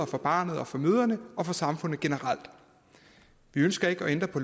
for barnet for moren og for samfundet generelt vi ønsker ikke at ændre på